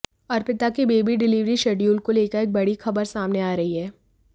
अर्पिता के baby delivery schedule को लेकर एक बड़ी खबर सामने आ रही है